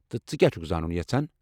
تہٕ ژٕ كیاہ چُھكھ زانُن یژھان ؟